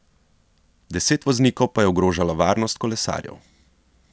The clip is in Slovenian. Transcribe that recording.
Deset voznikov pa je ogrožalo varnost kolesarjev.